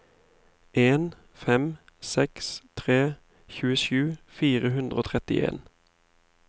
en fem seks tre tjuesju fire hundre og trettien